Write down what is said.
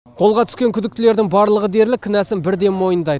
қолға түскен күдіктілердің барлығы дерлік кінәсын бірден мойындайды